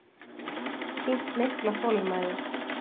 Sýnt mikla þolinmæði